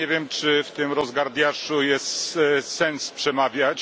Nie wiem, czy w tym rozgardiaszu jest sens przemawiać.